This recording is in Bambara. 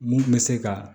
Mun bɛ se ka